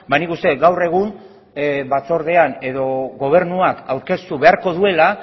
nik uste dut gaur egun batzordean edo gobernuak aurkeztu beharko duela